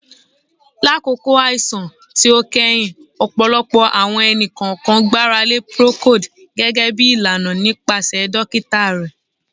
Lakoko akoko aisan ti o kẹhin, ọpọlọpọ awọn ẹni-kọọkan gbarale Procold gẹgẹbi ilana nipasẹ dokita rẹ